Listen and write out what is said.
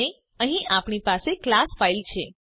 અને અહીં આપણી પાસે કલાસ ફાઈલ છે